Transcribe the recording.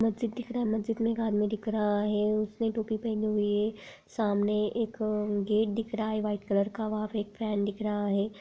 मस्जिद दिख रहा है मस्जिद मे एक आदमी दिख रहा है उसने टोपी पहनी हुई है सामने एक गेट दिख रहा है व्हाइट कलर का वहां पे एक फैन दिख रहा है।